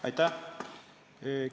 Aitäh!